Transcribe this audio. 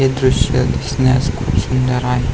हे दृश दिसण्यास खूप सुंदर आहे.